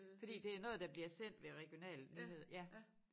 Fordi det noget der bliver sendt ved regionale nyheder ja